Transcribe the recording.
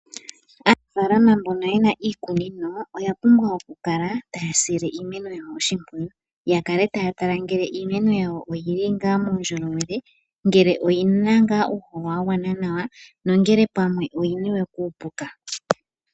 Aanafaalama mbono yena iikunino oya pumbwa okukala taya sile iimeno yawo oshimpwiyu. Ya kale taya tala ngele iimeno yawo oyili ngaa muundjolowele. Ngele oyina ngaa uuhoho wa gwana nawa nongele pamwe oyi niwe kuupuka.